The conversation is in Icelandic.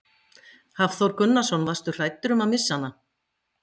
Hafþór Gunnarsson: Varstu hræddur um að missa hana?